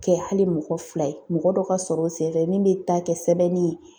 kɛ hali mɔgɔ fila ye mɔgɔ dɔ ka sɔrɔ o senfɛ min bɛ taa kɛ sɛbɛnni ye.